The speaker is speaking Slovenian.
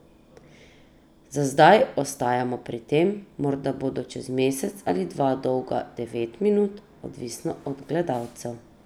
Za zdaj ostajamo pri tem, morda bodo čez mesec ali dva dolga devet minut, odvisno od gledalcev.